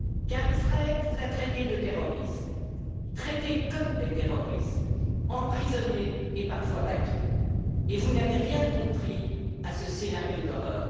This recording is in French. car Israël vous a traités de terroristes, traités comme des terroristes, emprisonnés et parfois battus, et vous n'avez rien compris à ce scénario d'horreur.